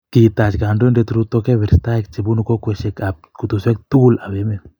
Kitach kandoindet Ruto kabeberstaek che bunu kokwecheshek ab kutuswek tukul ab emet